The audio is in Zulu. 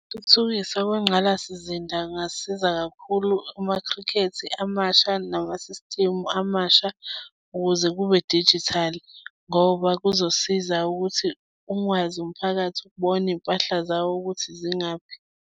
Ukuthuthukiswa kwengqalasizinda kungasiza kakhulu kumakhrikhethi amasha nama-system amasha ukuze kube-digital ngoba kuzosiza ukuthi ukwazi umphakathi ukubona iy'mpahla zawo ukuthi zingaphi.